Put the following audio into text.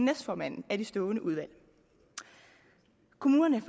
næstformanden af de stående udvalg kommunerne